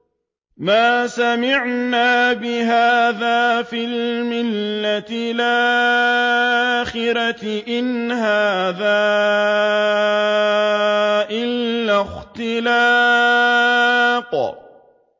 مَا سَمِعْنَا بِهَٰذَا فِي الْمِلَّةِ الْآخِرَةِ إِنْ هَٰذَا إِلَّا اخْتِلَاقٌ